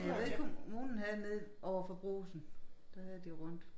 Jeg ved kommunen ahvde nede overfor brugsen der havde de rundt